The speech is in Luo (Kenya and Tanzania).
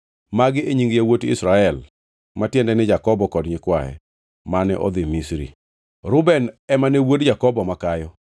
Magi e nying yawuot Israel (ma tiende ni Jakobo kod nyikwaye) mane odhi Misri. Reuben ema ne wuod Jakobo makayo.